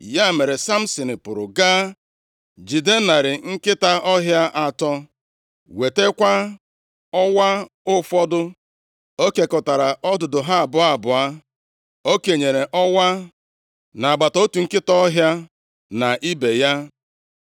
Ya mere, Samsin pụrụ gaa jide narị nkịta ọhịa atọ, wetakwa ọwa ụfọdụ. O kekọtara ọdụdụ ha abụọ abụọ. O kenyere ọwa nʼagbata otu nkịta ọhịa na ibe ya.